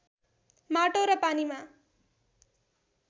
माटो र पानीमा